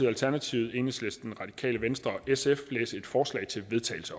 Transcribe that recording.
alternativet enhedslisten radikale venstre og sf læse et forslag til vedtagelse